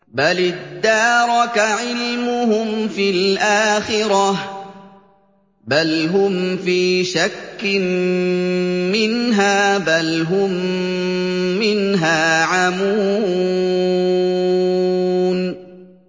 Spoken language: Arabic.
بَلِ ادَّارَكَ عِلْمُهُمْ فِي الْآخِرَةِ ۚ بَلْ هُمْ فِي شَكٍّ مِّنْهَا ۖ بَلْ هُم مِّنْهَا عَمُونَ